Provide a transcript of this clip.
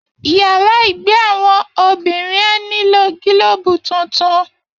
Yàrá ìgbé àwọn obìnrin á nílò gílóòbù tuntun